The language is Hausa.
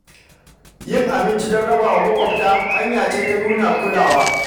Yin abinci don raba wa maƙwabta hanya ce ta nuna kulawa.